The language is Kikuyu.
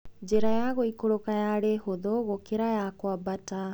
Njĩra ya gũikũrũka yarĩ hũthũ gũkĩra ya kwambata.